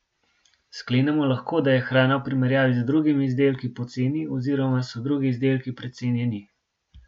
Sklenemo lahko, da je hrana v primerjavi z drugimi izdelki poceni oziroma so drugi izdelki precenjeni.